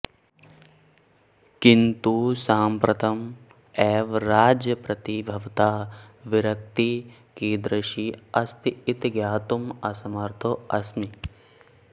किन्तु साम्प्रतम् एव राज्यं प्रति भवतः विरक्तिः कीदृशी अस्ति इति ज्ञातुम् असमर्थोऽस्मि